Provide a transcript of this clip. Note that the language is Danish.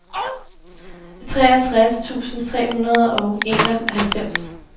treogtres tusind tre hundrede og enoghalvfems